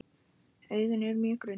Augun eru mjög grunn.